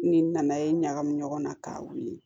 Ni nana ye ɲagami ɲɔgɔn na ka wuli